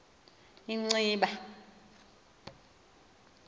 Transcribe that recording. inciba